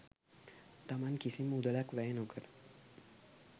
තමන් කිසිම මුදලක් වැය නොකර